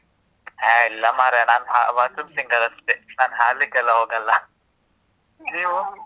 ಹೇ ಇಲ್ಲಾ ಮಾರ್ರೆ. ನಾನ್ bathroom singer ಅಷ್ಟೇ. ನಾನ್ ಹಾಡ್ಲಿಕ್ಕ್ ಎಲ್ಲಾ ಹೋಗಲ್ಲ. ನೀವು?